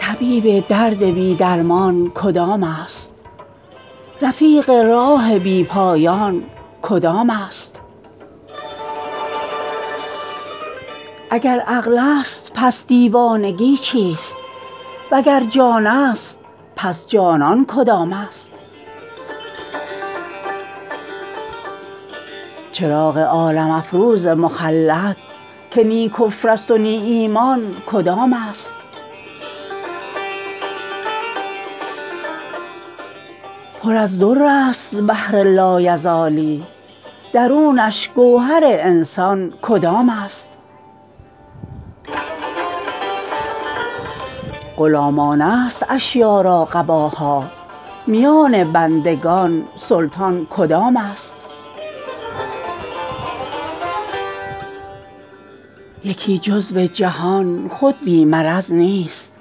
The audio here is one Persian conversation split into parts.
طبیب درد بی درمان کدام است رفیق راه بی پایان کدام است اگر عقلست پس دیوانگی چیست وگر جانست پس جانان کدام است چراغ عالم افروز مخلد که نی کفرست و نی ایمان کدام است پر از در است بحر لایزالی درونش گوهر انسان کدام است غلامانه است اشیا را قباها میان بندگان سلطان کدام است یکی جزو جهان خود بی مرض نیست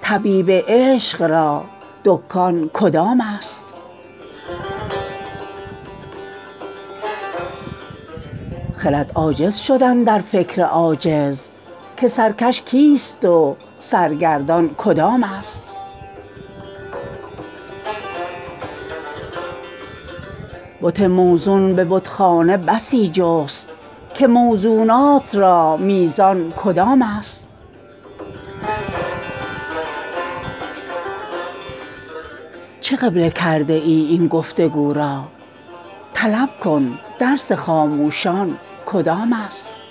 طبیب عشق را دکان کدام است خرد عاجز شد اندر فکر عاجز که سرکش کیست سرگردان کدام است بت موزون به بتخانه بسی جست که موزونات را میزان کدام است چه قبله کرده ای این گفت و گو را طلب کن درس خاموشان کدام است